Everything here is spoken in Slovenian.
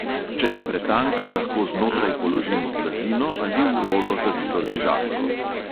Če je pretanka, lahko znotraj položimo blazino ali v rolo zavito ležalko.